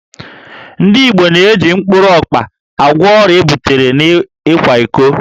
Ndị Igbo na-eji mkpụrụ ọkpa agwọ ọrịa ebutere n'ịkwa iko